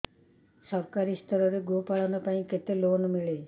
ସରକାରୀ ସ୍ତରରେ ଗୋ ପାଳନ ପାଇଁ କେତେ ଲୋନ୍ ମିଳେ